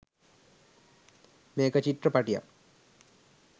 මේක චිත්‍රපටියක්